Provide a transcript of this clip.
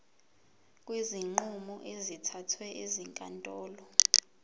kwezinqumo ezithathwe ezinkantolo